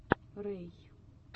рэй